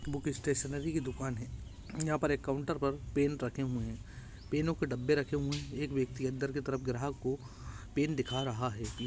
book stationery की दुकान है यहाँ पर एक काउन्टर पर पेन रखे हुए हैं पेनों के डब्बे रखे हुए हैं एक व्यक्ति अंदर की तरफ ग्राहक को पेन दिखा रहा है